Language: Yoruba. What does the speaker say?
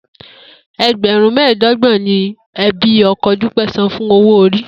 E̩gbè̩rún mé̩è̩dó̩gbò̩n ni e̩bí o̩ko̩ Dúpé̩ san fún owó-orí